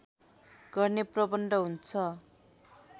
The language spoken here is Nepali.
गर्ने प्रबन्ध हुन्छ